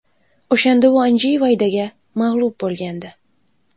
O‘shanda u Anjey Vaydaga mag‘lub bo‘lgandi.